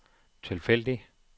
tilfældig